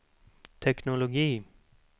teknologi